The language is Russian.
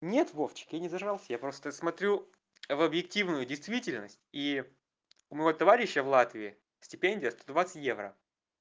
нет вовчик я не зажрался я просто смотрю в объективную действительность и у моего товарища в латвии стипендия сто двадцать евро